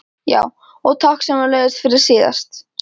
. já, og takk sömuleiðis fyrir síðast.